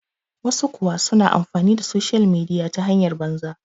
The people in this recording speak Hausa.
wasu kuwa suna amfani da soshiyal midiya ta hanyar banza